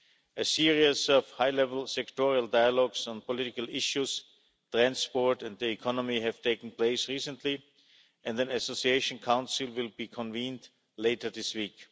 A series of high level sectoral dialogues on political issues, transport and the economy has taken place recently and an Association Council will be convened later this week.